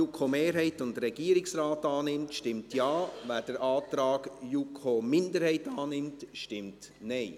JuKo-Mehrheit / Regierungsrat annimmt, stimmt Ja, wer den Antrag JuKo-Minderheit annimmt, stimmt Nein.